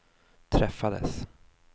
träffades